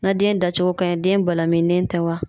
Na den da cogo ka ɲi, den balamininen tɛ wa?